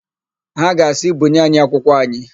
Ha ga asị, "bunye anyị akwụkwọ anyị"!